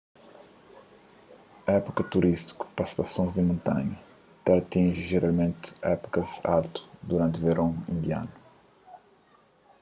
épuka turístiku pa stasons di montanha ta atinji jeralmenti épukas altu duranti veron indianu